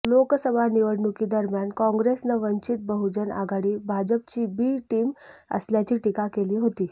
लोकसभा निवडणुकीदरम्यान काँग्रेसनं वंचित बहूजन आघाडी भाजपची बी टीम असल्याची टीका केली होती